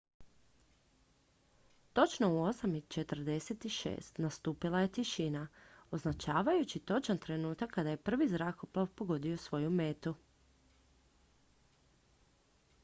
točno u 8:46 nastupila je tišina označavajući točan trenutak kada je prvi zrakoplov pogodio svoju metu